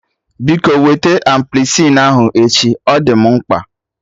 Biko wete ampicilin ahụ echi, ọ dị mụ mkpa